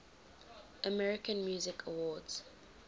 american music awards